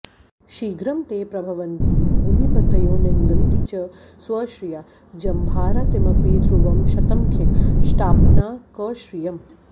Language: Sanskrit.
शीघ्रं ते प्रभवन्ति भूमिपतयो निन्दन्ति च स्वश्रिया जम्भारातिमपि ध्रुवं शतमखीकष्टाप्तनाकश्रियम्